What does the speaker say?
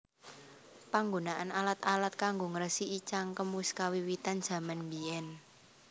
Panggunaan alat alat kanggo ngresiki cangkem wis kawiwitan jaman mbièn